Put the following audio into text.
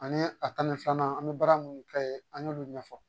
Ani a tani filanan an bɛ baara munnu kɛ yen an y'olu ɲɛfɔ